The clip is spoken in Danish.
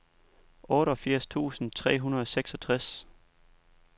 otteogfirs tusind tre hundrede og seksogtres